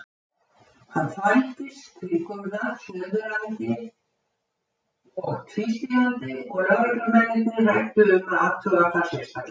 Hann þvældist kringum það snuðrandi og tvístígandi og lögreglumennirnir ræddu um að athuga það sérstaklega.